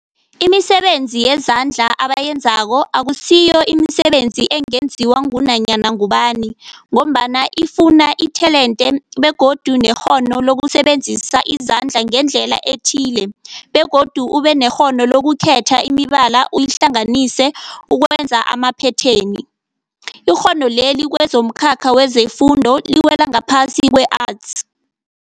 Imisebenzi yezandla abayenzako akusiyo imisebenzi ungenziwa ngunyana ngubani mgombana ifuna itelente begodu nekghono lokusebenzisa izandla ngendlela ethile, begodu ubenekghono lokukhetha imibala uyihlanganise ukwenza amaphetheni. Ikghono leli kwezomkhakha wefundo liwela ngaphasi kwe-Arts.